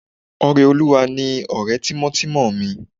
Ọrẹolúwa ni ọ̀rẹ́ tímọ́tímọ́ mi